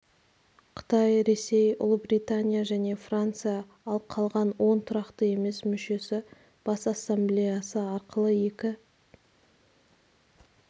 қытай ресей ұлыбритания және франция ал қалған он тұрақты емес мүшесі бас ассамблеясы арқылы екі